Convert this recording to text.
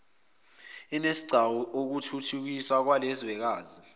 isinesigcawu okuthuthukiswa kwelelizwekazi